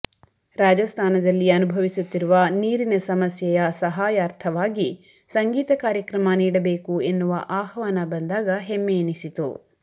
ರಾಜಸ್ತಾನದಲ್ಲಿ ಅನುಭವಿಸುತ್ತಿರುವ ನೀರಿನ ಸಮಸ್ಯೆಯ ಸಹಾಯಾರ್ಥವಾಗಿ ಸಂಗೀತ ಕಾರ್ಯಕ್ರಮ ನೀಡಬೇಕು ಎನ್ನುವ ಆಹ್ವಾನ ಬಂದಾಗ ಹೆಮ್ಮೆ ಎನಿಸಿತು